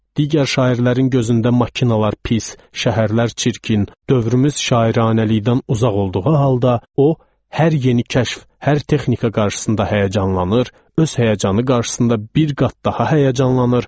Digər şairlərin gözündə maşınlar pis, şəhərlər çirkin, dövrümüz şairanəlikdən uzaq olduğu halda, o hər yeni kəşf, hər texnika qarşısında həyəcanlanır, öz həyəcanı qarşısında bir qat daha həyəcanlanır,